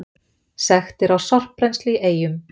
Sektir á sorpbrennslu í Eyjum